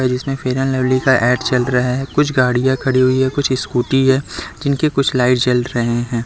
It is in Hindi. जिसमें फेयर एंड लवली का एड चल रहा है कुछ गाड़ी खड़ी हुई है कुछ स्कूटी है जिनके कुछ लाइट जल रहे है।